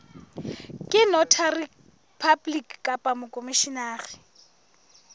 ke notary public kapa mokhomishenara